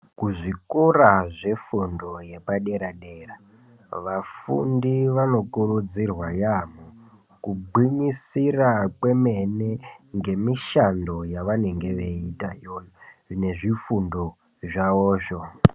Kuzvikora zvefundo yapadera dera vafundi vanokurudzirwa yamho kugwinyisira kwemene ngemishando yavanenge veiita iyoyo nezvifundo zvavozvo.